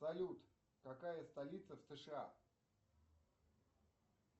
салют какая столица в сша